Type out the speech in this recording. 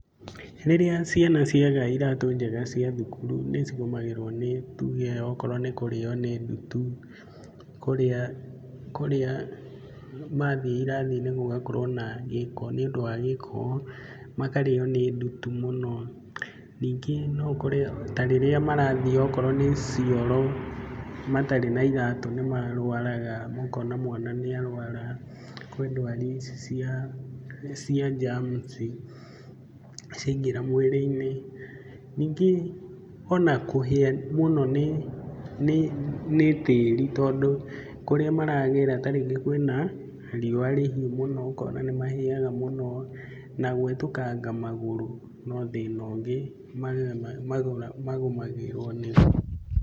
Rĩrĩa ciana ciaga iratũ njega cia thukuru nĩ cigũmagĩrwo nĩ tuge okoro nĩ kũrĩo nĩ ndutu, kũrĩa kũrĩa mathiĩ irathi-inĩ gũgakorwo na gĩko nĩũndũ wa gĩko, makarĩo nĩ ndutu mũno. Ningĩ no ũkore ta rĩrĩa marathiĩ okorwo nĩ cioro matarĩ na iratũ nĩ marwaraga, ũkona mwana nĩarwara. Kwĩ ndwari ici cia cia germs[ i cia ingĩra mwĩrĩ-inĩ. Ningĩ ona kũhĩa mũno nĩ tĩri tondũ kũrĩa maragera ta rĩngĩ kwĩna riũa rĩhuũ mũno ũkona nĩmahĩaga mũno na gwetũkanga magũrũ no thĩna ũngĩ magũmagĩrwo nĩguo.